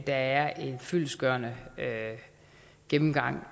er en fyldestgørende gennemgang